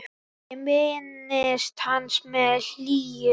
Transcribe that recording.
Ég minnist hans með hlýju.